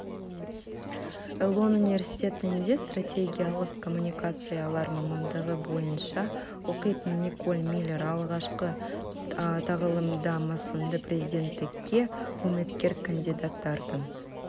элон университетінде стратегиялық коммуникациялар мамандығы бойынша оқитын николь миллер алғашқы тағылымдамасында президенттікке үміткер кандидаттардың